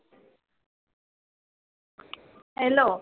hello